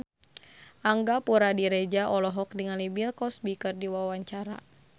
Angga Puradiredja olohok ningali Bill Cosby keur diwawancara